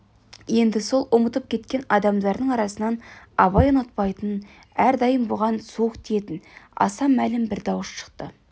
енді сол ұмытып кеткен адамдарының арасынан абай ұнатпайтын әрдайым бұған суық тиетін аса мәлім бір дауыс шықты